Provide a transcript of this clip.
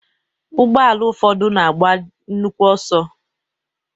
Ụgbọala ụfọdụ na-agba nnukwu ọsọ.